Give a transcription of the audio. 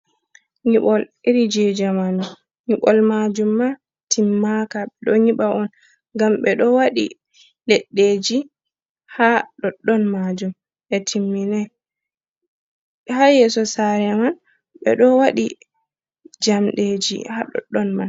Nyiɓol irin je jamanu. Nyiɓol majum ma timmaka ɓeɗo niba on ngam ɓeɗo waɗi leɗɗeji ha ɗoɗɗon majum ɓe timminan ha yeso sare man ɓeɗo waɗi jamɗeji ha ɗoɗɗon man.